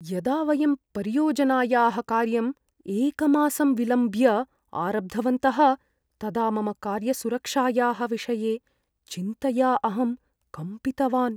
यदा वयं परियोजनायाः कार्यम् एकमासं विलम्ब्य आरब्धवन्तः, तदा मम कार्यसुरक्षायाः विषये चिन्तया अहं कम्पितवान्।